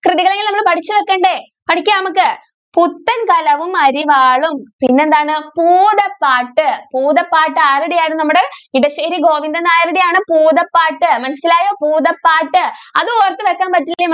കൃതികൾ എങ്കിലും നമ്മൾ പഠിച്ച് വയ്കണ്ടേ? പഠിക്കാം നമ്മൾക്ക് പുട്ടും കലവും അരിവാളും പിന്നെ എന്താണ് ഭൂതപ്പാട്ട്, ഭൂതപ്പാട്ട് ആരുടെ ആയിരുന്നു നമ്മുടെ ഇടശ്ശേരി ഗോവിന്ദൻ നായരുടെ ആണ് ഭൂതപ്പാട്ട് മനസ്സിലായോ ഭൂതപ്പാട്ട് അത് ഓർത്തു വെക്കാൻ പറ്റിയില്ലെങ്കിൽ